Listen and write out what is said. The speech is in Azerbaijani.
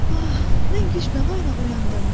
Ah, mən güc-bəla ilə oyandım.